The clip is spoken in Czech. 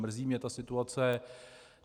Mrzí mě ta situace.